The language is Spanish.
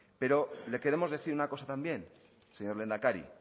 pero le queremos decir una cosa también señor lehendakari